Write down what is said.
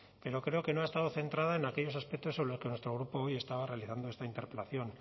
pero creo que no ha estado centrada en aquellos aspectos sobre los que nuestro grupo estaba realizando esta interpelación